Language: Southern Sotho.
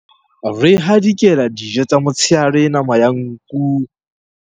Re hadikela dijo tsa motshehare nama ya nku.